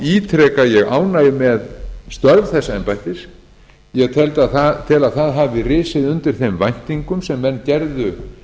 ítreka ég ánægju með störf þess embættis ég tel að það hafi risið undir þeim væntingum sem menn gerðu